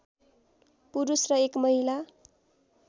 पुरुष र एक महिला